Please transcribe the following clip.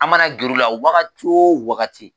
An mana gɛrɛ u la wagati wo wagati.